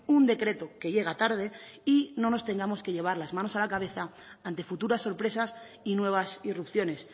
un decreto que llega tarde y no nos tengamos que llevar las manos a la cabeza ante futuras sorpresas y nuevas irrupciones